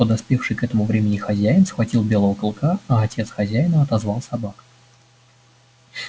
подоспевший к этому времени хозяин схватил белого клыка а отец хозяина отозвал собак